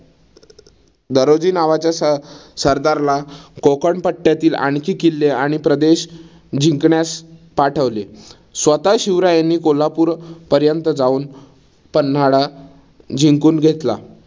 दगडोजी नावाच्या सरदारला कोकण पट्ट्यातील आणखी किल्ले आणि प्रदेश जिंकण्यास पाठवले. स्वतः शिवरायांनी कोल्हापूर पर्यंत जाउन पन्हाळा जिंकून घेतला.